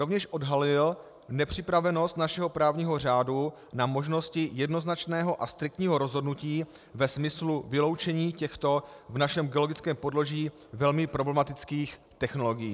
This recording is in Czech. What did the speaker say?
Rovněž odhalily nepřipravenost našeho právního řádu na možnosti jednoznačného a striktního rozhodnutí ve smyslu vyloučení těchto v našem geologickém podloží velmi problematických technologií.